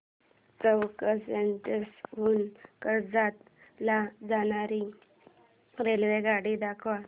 चौक station हून कर्जत ला जाणारी रेल्वेगाडी दाखव